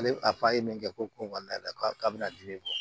Ale a fa ye min kɛ ko ko kɔnɔna la k'a bɛna dimi bɔ